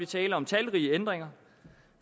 tale om talrige ændringer